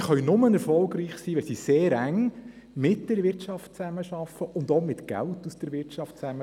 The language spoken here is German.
Sie können nur erfolgreich sein, wenn sie sehr eng mit der Wirtschaft zusammenarbeiten und auch mit Geld aus der Wirtschaft arbeiten.